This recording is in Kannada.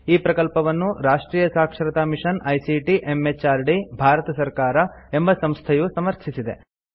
ಈ ಪ್ರಕಲ್ಪವನ್ನು ರಾಷ್ಟ್ರಿಯ ಸಾಕ್ಷರತಾ ಮಿಷನ್ ಐಸಿಟಿ ಎಂಎಚಆರ್ಡಿ ಭಾರತ ಸರ್ಕಾರ ಎಂಬ ಸಂಸ್ಥೆಯು ಸಮರ್ಥಿಸಿದೆ